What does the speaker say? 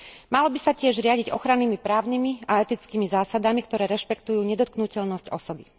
Malo by sa tiež riadiť ochrannými právnymi a etickými zásadami, ktoré rešpektujú nedotknuteľnosť osoby.